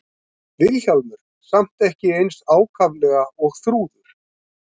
Vilhjálmur samt ekki eins ákaflega og Þrúður.